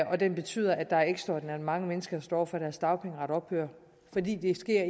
og den betyder at der er ekstraordinært mange mennesker der står over for at deres dagpengeret ophører fordi det sker